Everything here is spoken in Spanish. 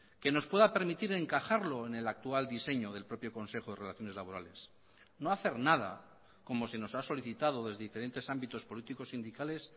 que nos pueda permitir encajarlo en el actual diseño del propio consejo de relaciones laborales no hacer nada como se nos ha solicitado desde diferentes ámbitos políticos sindicales